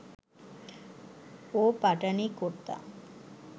ও Pathani kurta